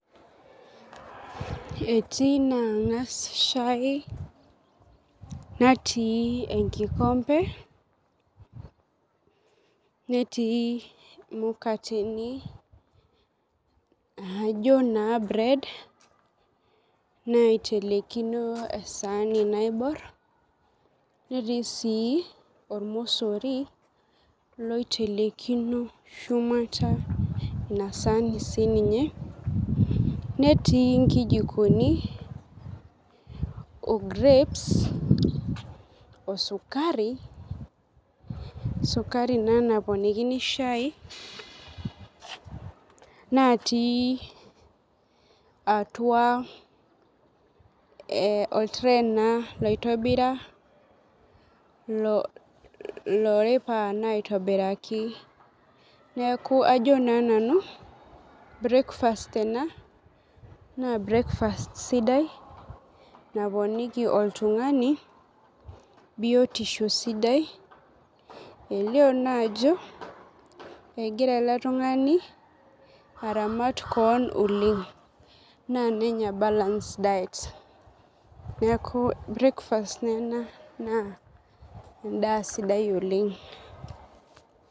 Etii na angas shai natii enkikompe netii mukateni naijo na [cs[bread nitelekino esaani naibor netii ormosori oitelelino shumata inasaani sininye netii nikijokini o grapes osukari, sukari ena naponikini shai natii atua or[cs[tray na oitobira aitobiraki Neaku na nanu breakfast ena na brekfast[cs[ sidai naponiki oltungani biotisho sidai elio na ajo egira eletungani aramat keon oleng ominosa balance diet neaku endaa sidai oleng.